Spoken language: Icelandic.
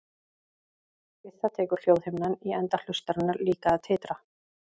Við það tekur hljóðhimnan í enda hlustarinnar líka að titra.